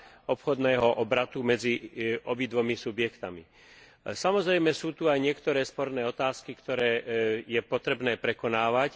obchodného obratu medzi obidvomi subjektmi. Samozrejme, sú tu aj niektoré sporné otázky, ktoré je potrebné prekonávať.